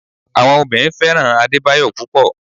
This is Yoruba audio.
Àwọn obìnrin fẹ́ràn Adebayo púpò.